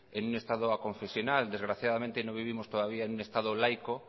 en un estado aconfesional desgraciadamente no vivimos todavía en un estado laico